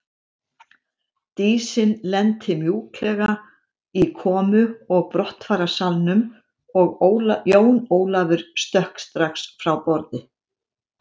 Dísin lenti mjúklega í komu og brottfararsalnum og Jón Ólafur stökk strax frá borði.